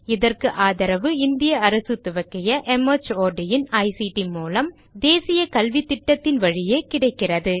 இதற்கு ஆதரவு இந்திய அரசு துவக்கிய மார்ட் இன் ஐசிடி மூலம் தேசிய கல்வித்திட்டத்தின் வழியே கிடைக்கிறது